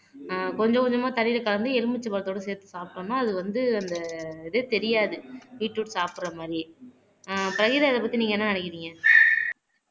ஆஹ் கொஞ்சம் கொஞ்சமா தண்ணியில கலந்து எலுமிச்சை பழத்தோட சேர்த்து சாப்பிட்டோம்ன்னா அது வந்து அந்த இதே தெரியாது பீட்ரூட் சாப்பிடற மாதிரி ஆஹ் பஹிரா அத பத்தி நீங்க என்ன நினைக்கிறீங்க